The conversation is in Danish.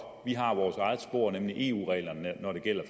vi har vores eget spor nemlig eu reglerne når det gælder